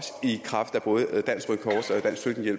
også